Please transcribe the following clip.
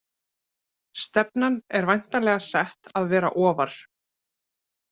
Stefnan er væntanlega sett að vera ofar?